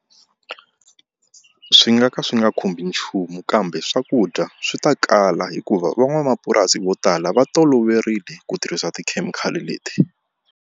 Swi nga ka swi nga khumbi nchumu kambe swakudya swi ta kala hikuva van'wamapurasi vo tala va toloverile ku tirhisa tikhemikhali leti.